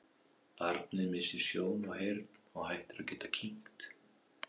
Barnið missir sjón og heyrn og hættir að geta kyngt.